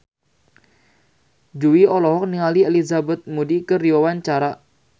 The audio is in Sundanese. Jui olohok ningali Elizabeth Moody keur diwawancara